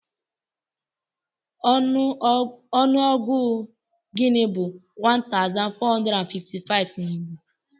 Ọnụọgụ gịnị bú 1455 na Igbo?